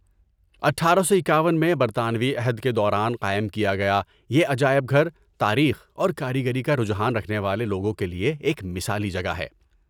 اٹھارہ سو اکاون میں برطانوی عہد کے دوران قائم کیا گیا یہ عجائب گھر تاریخ اور کاریگری کا رجحان رکھنے والے لوگوں کے لیے ایک مثالی جگہ ہے